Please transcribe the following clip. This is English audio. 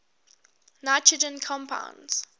nitrogen compounds